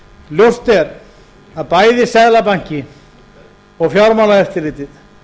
ljóst er að bæði seðlabanki og fjármálaeftirlitið